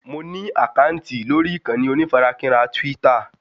Mo ní àkáǹtì lórí ìkànnì onífarakínra twítà